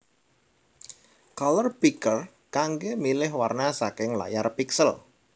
Color Picker kanggé milih warna saking layar piksel